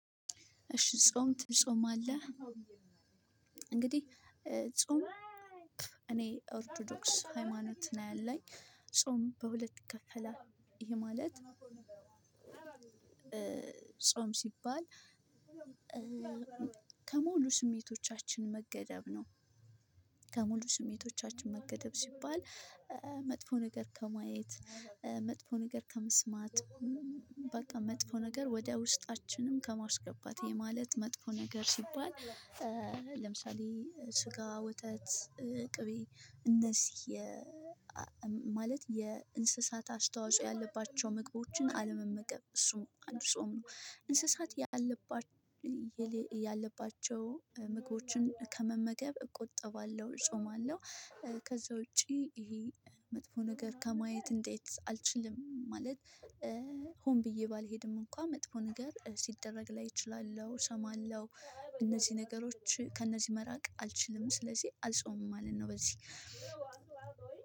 እሺ ጾም ትጾማለህ? እንግዲህ ጾም እኔ ኦርቶዶክስ ሃይማኖት ነው ያለኝ። ጾም በሁለት ይከፈላል ይሄም ማለት ጾም ሲባል ከሙሉ ስሜቶቻችን መገደብ ነው። ከሙሉ ስሜቶቻችን መገደብ ሲባል መጥፎ ነገር ከማየት መጥፎ ነገር ከመስማት በቃ መጥፎ ነገር ወደ ውስጣችንም ከማስገባት ይሄ ማለት መጥፎ ነገር ሲባል። ለምሳሌ ስጋ ወተት ቅቤ እነዚህ ማለት የእንስሳት አስተዋጽኦ ያለባቸው ምግቦችን አለመመገብ እሱም አንዱጾም ነው። እንስሳት ያለባቸው ያለባቸው ምግቦችን ከመመገብ እቆጠባለሁ እጾማለሁ። ከዛ ውጪ ይሄ መጥፎ ነገር ከማየት እንዴት አልችልም። ማለት ሆን ብዬ ባልሄድም እንኳን መጥፎ ነገር ሲደረግ ላይ እችላለሁ። እነዚህ ነገሮች ከእነዚህ መራቅ አልችልም ስለዚህ አልጾምም ማለት ነው። በዚህ